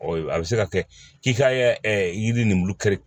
a bɛ se ka kɛ k'i ka yiri nimuru kiri